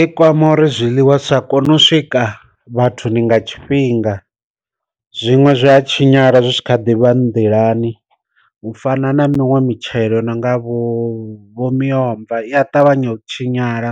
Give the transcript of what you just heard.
I kwama uri zwiḽiwa zwisa kone u swika vhathuni nga tshifhinga, zwiṅwe zwa tshinyala zwi tshi kha ḓivha nḓilani u fana na miṅwe mitshelo nonga vho vhovho miomva iya ṱavhanya u tshinyala